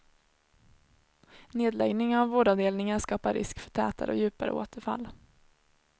Nedläggning av vårdavdelningar skapar risk för tätare och djupare återfall.